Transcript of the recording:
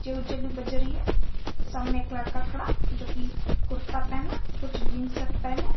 music भी बज रही है सामने एक लड़का खड़ा जो की कुर्ता पहना कुछ जींस शर्ट पहने--